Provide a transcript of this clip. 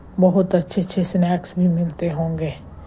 बहुत अच्छे अच्छे स्नैक्स भी मिलते होंगे।